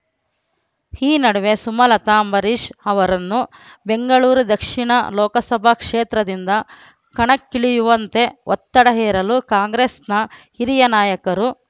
ಈ ನಡುವೆ ಸುಮಲತ ಅಂಬರೀಶ್ ಅವರನ್ನು ಬೆಂಗಳೂರು ದಕ್ಷಿಣ ಲೋಕಸಭಾ ಕ್ಷೇತ್ರದಿಂದ ಕಣಕ್ಕಿಳಿಯುವಂತೆ ಒತ್ತಡ ಹೇರಲು ಕಾಂಗ್ರೆಸ್‌ನ ಹಿರಿಯ ನಾಯಕರು